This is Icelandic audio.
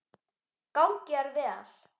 Gangi þér vel.